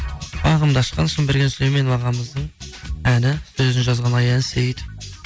бағымды ашқан сұмберген сүйлеменов ағамыздың әні сөзін жазған аян сейітов